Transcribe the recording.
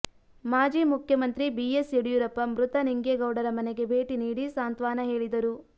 ಮಾಜಿ ಮುಖ್ಯಮಂತ್ರಿ ಬಿಎಸ್ ಯಡಿಯೂರಪ್ಪ ಮೃತ ನಿಂಗೇಗೌಡರ ಮನೆಗೆ ಭೇಟಿ ನೀಡಿ ಸಾಂತ್ವಾನ ಹೇಳಿದರು